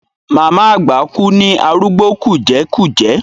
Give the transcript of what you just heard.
Màmá àgbà kú ní arúgbó kùjẹ́kùjẹ́.